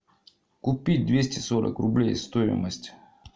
купить двести сорок рублей стоимость